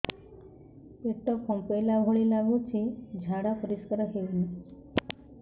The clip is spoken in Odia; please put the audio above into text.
ପେଟ ଫମ୍ପେଇଲା ଭଳି ଲାଗୁଛି ଝାଡା ପରିସ୍କାର ହେଉନି